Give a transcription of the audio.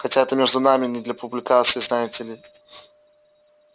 хотя это между нами не для публикации знаете ли